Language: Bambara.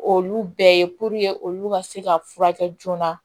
Olu bɛɛ ye olu ka se ka furakɛ joona